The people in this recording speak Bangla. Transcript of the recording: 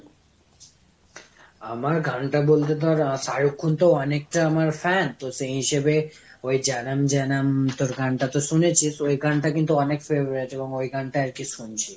আমার গান টা বলতে ধর, শাহরুখ খান তো অনেকটা আমার fan, তো সেই হিসেবে ওই hindi তোর গান টা তো শুনেছিস, ওই গানটা কিন্তু অনেক favorite। এবং ওই গানটাই আর কি শুনছি।